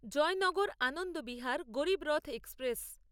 Joynagar Anand Vihar Garib Rath express